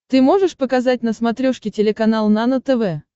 ты можешь показать на смотрешке телеканал нано тв